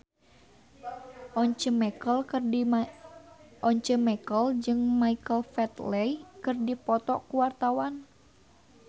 Once Mekel jeung Michael Flatley keur dipoto ku wartawan